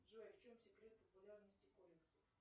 джой в чем секрет популярности комиксов